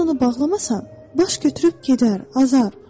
Sən onu bağlamasan, baş götürüb gedər, azar.